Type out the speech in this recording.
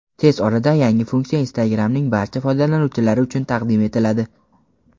Tez orada yangi funksiya Instagram’ning barcha foydalanuvchilari uchun taqdim etiladi.